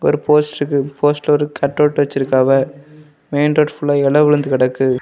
ஒரு போஸ்டர் இருக்கு போஸ்டர் ஒரு கட்அவுட் வச்சிருக்காவ மெயின் ரோடு ஃபுல்லா இல விழுந்து கிடக்கு.